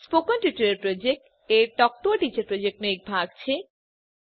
spoken tutorial project એ talk to a teacher પ્રોજેક્ટનો એક ભાગ છે